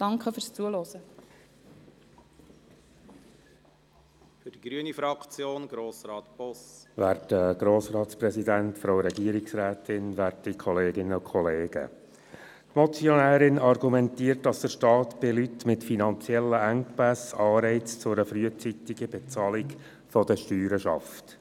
Die Motionärin argumentiert, dass der Staat bei Leuten mit finanziellen Engpässen Anreize für eine frühzeitige Bezahlung der Steuern schafft.